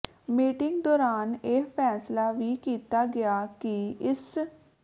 meeting ਦੌਰਾਨ ਇਹ ਫੈਸਲਾ ਵੀ ਕੀਤਾ ਗਿਆ ਕਿ ਇਸ